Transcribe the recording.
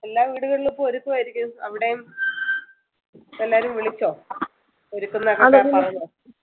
വീടുകളിലും ഇപ്പൊ ഒരുക്കം ആയിരിക്കും അവിടെയും എല്ലാരും വിളിചോ ഒരുക്കുന്നഒക്കെ